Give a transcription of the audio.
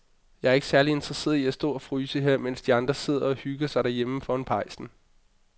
Jeg er ikke særlig interesseret i at stå og fryse her, mens de andre sidder og hygger sig derhjemme foran pejsen.